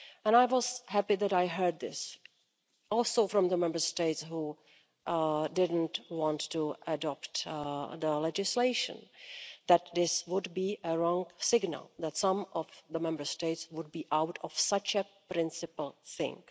I was happy that I heard this, also from the Member States who did not want to adopt the legislation, that this would be a wrong signal that some of the Member States would be out of such a principle thing.